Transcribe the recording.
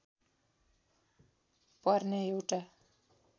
पर्ने एउटा